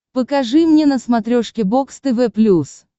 покажи мне на смотрешке бокс тв плюс